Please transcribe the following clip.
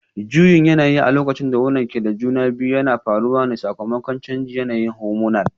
Juyin yanayi a lokacin da wonan ke da juna biyu yana faruwa ne sakamakon canjin yanayin hormonal